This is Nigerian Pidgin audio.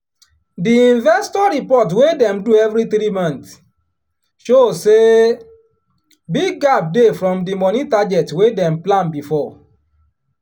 di investor report wey dem do every three month show say big gap dey from di money target wey dem plan before.